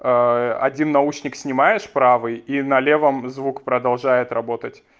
один наушник снимаешь правый и на левом звук продолжает работать